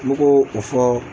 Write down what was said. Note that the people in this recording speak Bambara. Mɛ k'o o fɔ